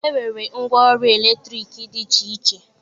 E nwere ngwa ọrụ eletriki dị iche iche.